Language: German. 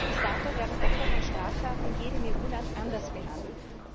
Bis dato werden Opfer von Straftaten in jedem EU Land anders behandelt.